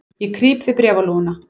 Ég krýp við bréfalúguna.